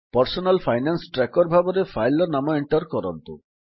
personal finance tracker ଭାବେ file ର ନାମ ଏଣ୍ଟର୍ କରନ୍ତୁ